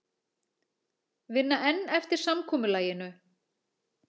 Vinna enn eftir samkomulaginu